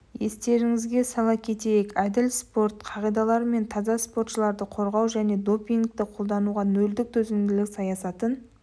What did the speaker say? естеріңізге сала кетейік әділ спорт қағидалары мен таза спортшыларды қорғау және допингті қолдануға нөлдік төзімділік саясатын